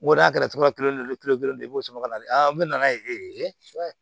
Wari a kɛra cogo kelen de ye kelen kelen de i b'o sɔrɔ ka na n'u nana ye